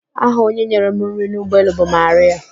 Aha onye nyere m nri n'ụgbọelu bụ Marịạ.